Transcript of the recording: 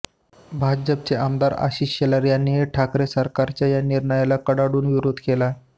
भाजपचे आमदार आशिष शेलार यांनीही ठाकरे सरकारच्या या निर्णयाला कडाडून विरोध केला